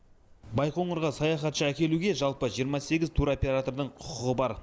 байқоңырға саяхатшы әкелуге жалпы жиырма сегіз туроператордың құқығы бар